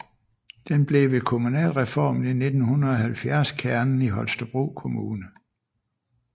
Den blev ved kommunalreformen i 1970 kernen i Holstebro Kommune